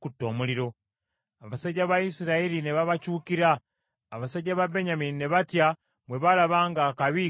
Abasajja ba Isirayiri ne babakyukira. Abasajja ba Benyamini ne batya bwe baalaba ng’akabi kabajjidde.